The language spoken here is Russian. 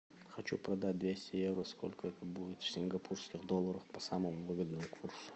хочу продать двести евро сколько это будет в сингапурских долларах по самому выгодному курсу